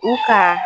U kan